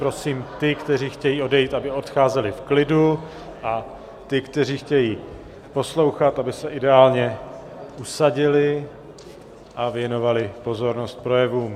Prosím ty, kteří chtějí odejít, aby odcházeli v klidu, a ty, kteří chtějí poslouchat, aby se ideálně usadili a věnovali pozornost projevům...